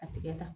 A tigɛ ta